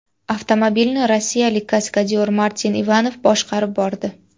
Avtomobilni rossiyalik kaskadyor Martin Ivanov boshqarib bordi.